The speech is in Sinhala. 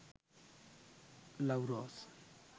love rose